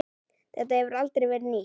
Þetta hefur aldrei verið nýtt.